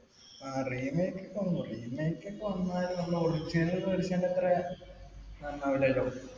ആ Remake ഒക്കെ വന്നു. Remake ഒക്കെ വന്നാലും നമ്മള് original അത്രേ നന്നാവുല്ലല്ലോ.